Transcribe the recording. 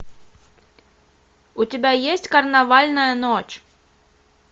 у тебя есть карнавальная ночь